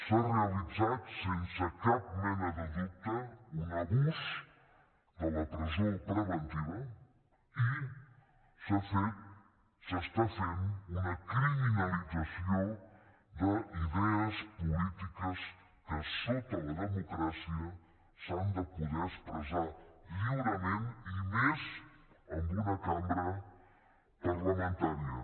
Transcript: s’ha realitzat sense cap mena de dubte un abús de la presó preventiva i s’ha fet s’està fent una criminalització d’idees polítiques que sota la democràcia s’han de poder expressar lliurement i més en una cambra parlamentària